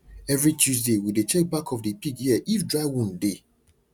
every tuesday we dey check back of the pig ear if dried wound dey